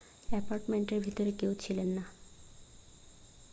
অ্যাপার্টমেন্টের ভেতরে কেউ ছিল না